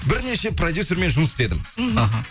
бірнеше продюсермен жұмыс істедің іхі